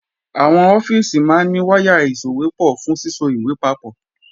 Àwọn ọ́fíìsì máa ní wáyà ìsòwépọ̀ fún síso ìwé papọ̀